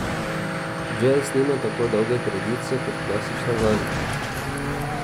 Džez nima tako dolge tradicije kot klasična glasba.